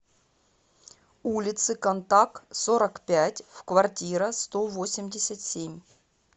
улицы контак сорок пять в квартира сто восемьдесят семь